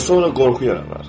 Və sonra qorxu yaradar.